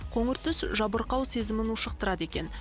қоңыр түс жабырқау сезімін ушықтырады екен